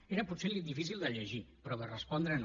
era potser difícil de llegir però de respondre no